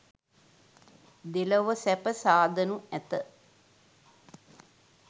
දෙලොව සැප සාදනු ඇත.